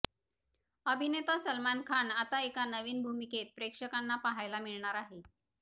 अभिनेता सलमान खान आता एका नवीन भूमिकेत प्रेक्षकांना पाहायला मिळणार आहे